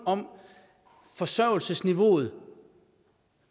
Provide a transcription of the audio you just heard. om forsørgelsesniveauet